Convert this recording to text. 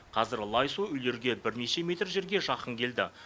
қазір лай су үйлерге бірнеше метр жерге жақын келді